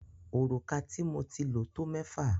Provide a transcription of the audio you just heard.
Òrùka tí mo ti lo tó mẹ́fà.